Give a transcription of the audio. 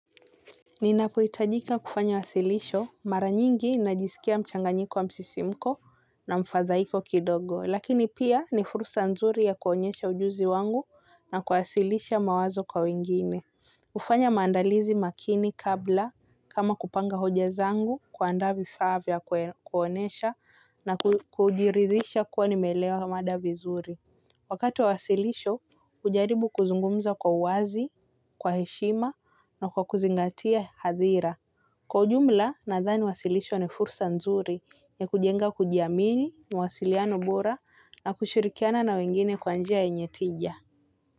Ninapohitajika kufanya wasilisho mara nyingi najisikia mchanganyiko wa msisimko na mfadhaiko kidogo, lakini pia ni fursa nzuri ya kuonyesha ujuzi wangu na kuasilisha mawazo kwa wengine. Hufanya maandalizi makini kabla kama kupanga hoja zangu kuandaa vifaa vya kuonyesha na kujiridhisha kuwa nimeelewa mada vizuri. Wakati wa wasilisho hujaribu kuzungumza kwa uwazi kwa heshima na kwa kuzingatia hadhira. Kwa ujumla nadhani wasilisho ni fursa nzuri ya kujenga kujiamini, mawasiliano bora na kushirikiana na wengine kwa njia yenye tija.